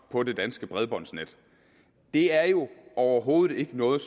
på det danske bredbåndsnet det er jo overhovedet ikke noget